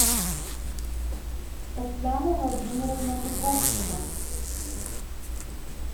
татьяна владимировна дубовцева